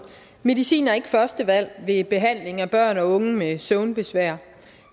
medicin er ikke førstevalg ved behandling af børn og unge med søvnbesvær